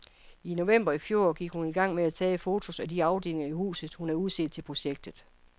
I november i fjor gik hun i gang med at tage fotos af de afdelinger i huset, hun havde udset til projektet.